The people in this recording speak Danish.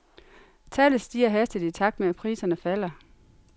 Tallet stiger hastigt i takt med at priserne falder.